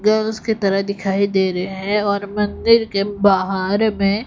गर उसकी तरह दिखाई दे रहे है और मंदिर के बाहार में--